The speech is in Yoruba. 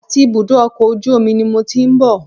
Àti ibùdó ọkọ̀ ojú omi ni mo ti ń bọ̀